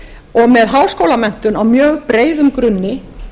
og með háskólamenntun á mjög breiðum grunni